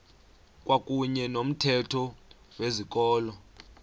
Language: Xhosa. kwakuyne nomthetho wezikolo